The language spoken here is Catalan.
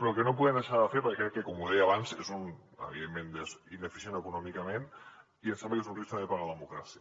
però que no podem deixar de fer perquè com deia abans és evidentment ineficient econòmicament i em sembla que és un risc també per a la democràcia